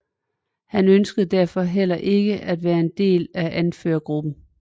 Han ønskede derfor heller ikke at være en del af anførergruppen